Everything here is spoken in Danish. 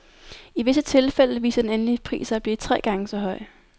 I visse tilfælde viste den endelige pris sig at blive tre gange så høj.